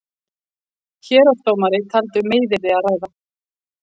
Héraðsdómari taldi um meiðyrði að ræða.